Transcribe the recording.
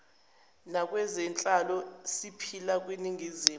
nakwezenhlalo siphila kwiningizimu